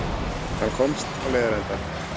Hann komst á leiðarenda.